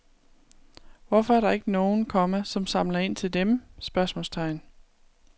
Hvorfor er der ikke nogen, komma som samler ind til dem? spørgsmålstegn